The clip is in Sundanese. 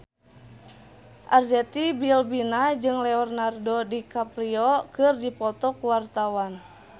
Arzetti Bilbina jeung Leonardo DiCaprio keur dipoto ku wartawan